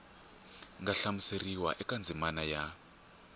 nga hlamuseriwa eka ndzimana ya